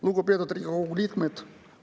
Lugupeetud Riigikogu liikmed!